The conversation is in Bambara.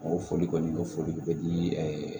O foli kɔni o foli tun bɛ di